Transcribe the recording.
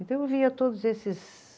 Então, eu via todos esses